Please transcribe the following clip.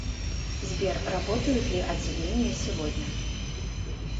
сбер работают ли отделение сегодня